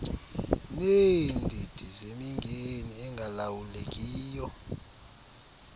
neendidi zemingeni engalawulekiyo